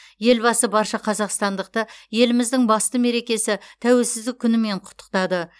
елбасы барша қазақстандықты еліміздің басты мерекесі тәуелсіздік күнімен құттықтады